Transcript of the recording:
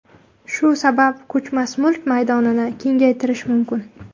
Shu sabab ko‘chmas mulk maydonini kengaytirish mumkin.